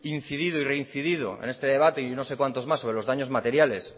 incidido y reincidido en este debate y en no sé cuántos más sobre los daños materiales